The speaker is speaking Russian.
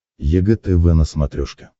егэ тв на смотрешке